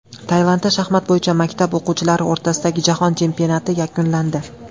Tailandda shaxmat bo‘yicha maktab o‘quvchilari o‘rtasidagi jahon chempionati yakunlandi.